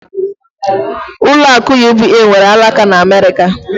Ụlọ akụ UBA nwere alaka n'Amerika